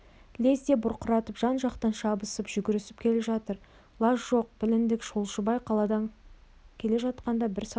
лезде бұрқыратып жан-жақтан шабысып жүгірісіп келіп жатыр лаж жоқ біліндік жолшыбай қаладан келе жатқан бір саудагерге